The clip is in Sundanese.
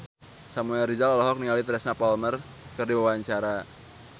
Samuel Rizal olohok ningali Teresa Palmer keur diwawancara